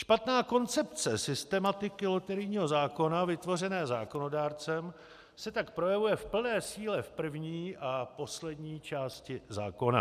Špatná koncepce systematiky loterijního zákona vytvořené zákonodárcem se tak projevuje v plné síle v první a poslední části zákona.